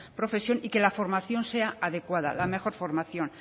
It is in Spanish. profesión y que la formación sea adecuada la mejor formación